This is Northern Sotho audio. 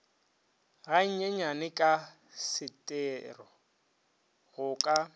ganyenyane ka setero go ka